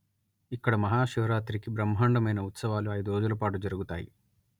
ఇక్కడ మహాశివరాత్రి కి బ్రహ్మాండమైన ఉత్సవాలు ఐదు రోజుల పాటు జరుగుతాయి